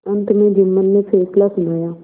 अंत में जुम्मन ने फैसला सुनाया